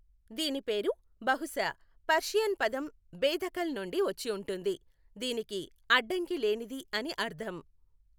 దీని పేరు బహుశా పర్షియన్ పదం బేదఖల్ నుండి వచ్చి ఉంటుంది, దీనికి అడ్డంకి లేనిది అని అర్థం.